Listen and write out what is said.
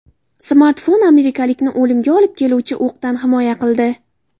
Smartfon amerikalikni o‘limga olib keluvchi o‘qdan himoya qildi.